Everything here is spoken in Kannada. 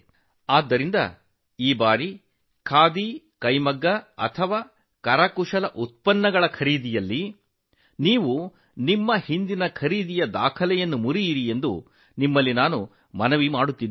ಅದಕ್ಕಾಗಿಯೇ ಖಾದಿ ಕೈಮಗ್ಗ ಅಥವಾ ಕರಕುಶಲ ಉತ್ಪನ್ನಗಳ ಖರೀದಿಯಲ್ಲಿ ಈ ಬಾರಿ ಎಲ್ಲಾ ದಾಖಲೆಗಳನ್ನು ಮುರಿಯಬೇಕೆಂದು ನಿಮ್ಮಲ್ಲಿ ವಿನಂತಿಸುತ್ತೇನೆ